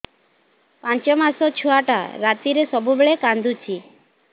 ପାଞ୍ଚ ମାସ ଛୁଆଟା ରାତିରେ ସବୁବେଳେ କାନ୍ଦୁଚି